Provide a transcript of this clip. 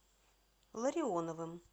ларионовым